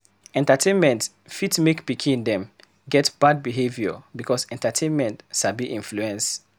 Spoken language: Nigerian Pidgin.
Entertainment fit make pikin them get bad behaviour because entertainment sabi influence